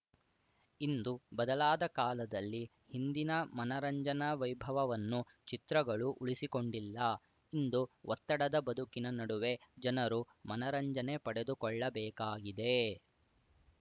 ಇಂದು ಬದಲಾದ ಕಾಲದಲ್ಲಿ ಹಿಂದಿನ ಮನರಂಜನಾ ವೈಭವವನ್ನು ಚಿತ್ರಗಳು ಉಳಿಸಿಕೊಂಡಿಲ್ಲ ಇಂದು ಒತ್ತಡದ ಬದುಕಿನ ನಡುವೆ ಜನರು ಮನರಂಜನೆ ಪಡೆದುಕೊಳ್ಳಬೇಕಾಗಿದೆ